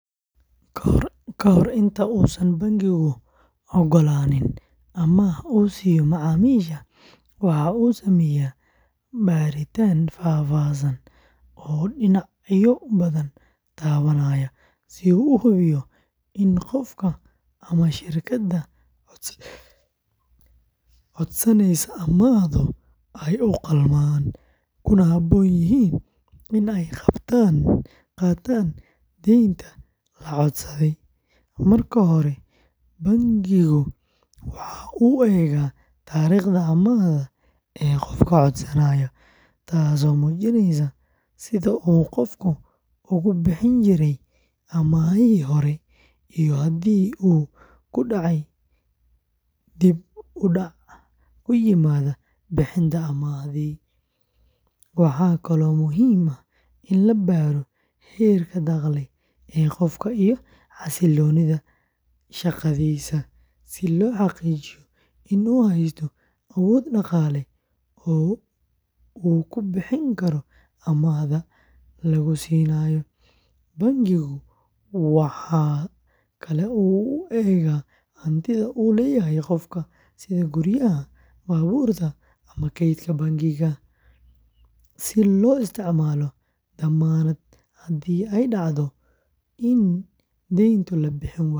Ka hor inta uusan bangigu oggolaanin amaah uu siiyo macaamiishiisa, waxa uu sameeyaa baaritaan faahfaahsan oo dhinacyo badan taabanaya si uu u hubiyo in qofka ama shirkadda codsanaysa amaahdu ay u qalmaan, kuna habboon yihiin in ay qaataan deynta la codsaday. Marka hore, bangigu waxa uu eegaa taariikhda amaahda ee qofka codsanaya, taasoo muujinaysa sida uu qofku uga bixi jiray amaahihii hore iyo haddii uu ku dhacay dib-u-dhac ku yimaada bixinta amaahdii hore. Waxaa kaloo muhiim ah in la baaro heerka dakhli ee qofka iyo xasilloonida shaqadiisa, si loo xaqiijiyo in uu haysto awood dhaqaale oo uu ku bixin karo amaahda lagu siinayo. Bangigu waxa kale oo uu eegaa hantida uu leeyahay qofka, sida guryaha, baabuurta ama kaydka bangiga, si loogu isticmaalo dammaanad haddii ay dhacdo in deyntu la bixin waayo.